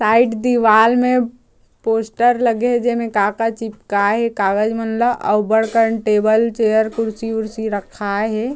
Side दीवाल में poster लगे हे जे में का का चिपका हे कागज़ मन ल अव बड़ कन टेबल चेयर कुर्सी-ऊर्सी रखाय हे।